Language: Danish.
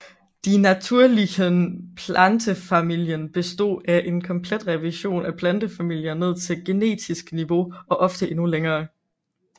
Die Natürlichen Pflanzenfamilien bestod af en komplet revision af plantefamilier ned til generisk niveau og ofte endnu længere